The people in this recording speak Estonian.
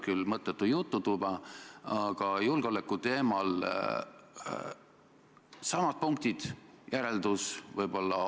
Kui see oli teie ettepanek, siis ütleme nii, et pehmelt öeldes oli see kummaline.